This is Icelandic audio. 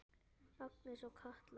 Agnes og Katla.